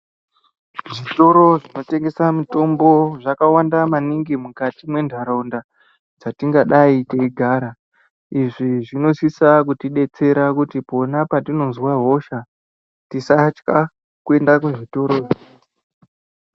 Zvitoro zvinotengesa mitombo zvakawanda maningi mukati mwentaraunda dzatingadai teigara, izvi zvinosisa kutidetsera kuti pona patinoza hosha tisatya kuenda kuzvitoro.